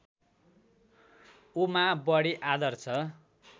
उमा बडी आदर्श